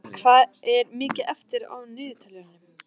Malla, hvað er mikið eftir af niðurteljaranum?